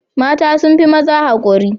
Mata sun fi maza haƙuri.